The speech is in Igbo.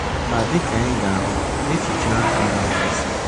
Ma dị ka anyị ga-ahụ, echiche ahụ enweghị isi